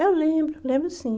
Eu lembro, lembro sim.